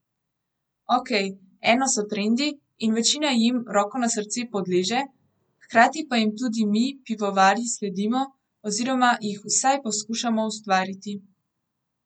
Okej, eno so trendi, in večina jim, roko na srce, podleže, hkrati pa jim tudi mi, pivovarji, sledimo oziroma jih vsaj poskušamo ustvariti.